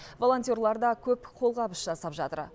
волонтерлар да көп қолғабыс жасап жатыр